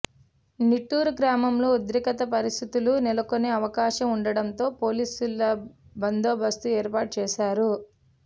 నీటూరు గ్రామంలో ఉద్రిక్త పరిస్థితులు నెలకొనే అవకాశం ఉండడంతో పోలీసుల బందోబస్తు ఏర్పాటు చేశారు